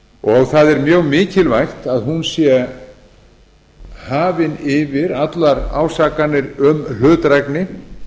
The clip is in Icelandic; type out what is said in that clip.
og það er mjög mikilvægt að hún sé hafin yfir allar ásakanir um hlutdrægni